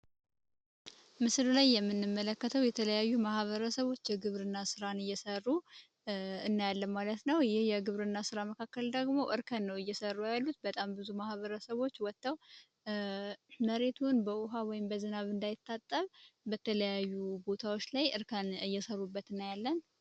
ምስሉ ላይ የምንመለከተው የተለያዩ ማህበረሰቦች የግብርና ስራን እየሰሩ እናያለን ማለት ነው። የግብርና ስራ መካከል ደግሞ እርከን ነው እየሰሩ ያሉት፤ በጣም ብዙ ማህበረሰቦች ወተው መሬቱን በውሃ ወይም በዝናብ እንዳይታጠብ በተለያዩ ቦታዎች ላይ እየሰሩበት እናያለን።